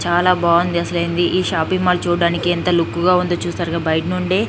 చాలా బాగుంది అసలేంది ఈ షాపింగ్ మాల్ చూడడానికి ఎంత లుక్ గా ఉందో చూసారుగా బయట నుండి.